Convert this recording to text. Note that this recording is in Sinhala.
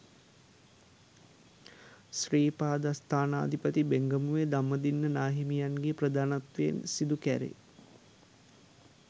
ශ්‍රී පාදස්ථානාධිපති බෙංගමුවේ ධම්මදින්න නාහිමියන් ගේ ප්‍රධානත්වයෙන් සිදුකැරේ.